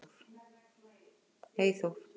Eyþór